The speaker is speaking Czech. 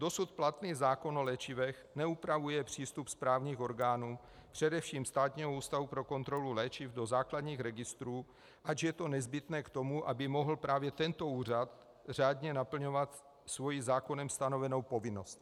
Dosud platný zákon o léčivech neupravuje přístup správních orgánů, především Státního ústavu pro kontrolu léčiv, do základních registrů, ač je to nezbytné k tomu, aby mohl právě tento úřad řádně naplňovat svoji zákonem stanovenou povinnost.